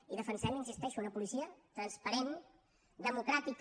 i defensem hi insisteixo una policia transparent democràtica